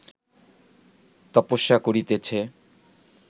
তপস্যা করিতেছে